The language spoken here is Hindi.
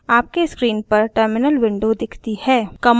आपके स्क्रीन पर टर्मिनल विंडो दिखती है